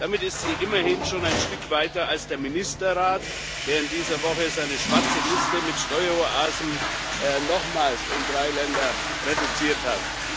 Damit ist sie immerhin schon ein Stück weiter als der Ministerrat, der in dieser Woche seine schwarze Liste mit Steueroasen nochmals um drei Länder reduziert hat.